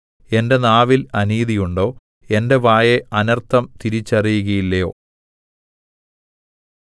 എന്റെ നാവിൽ അനീതിയുണ്ടോ എന്റെ വായ് അനർത്ഥം തിരിച്ചറിയുകയില്ലയോ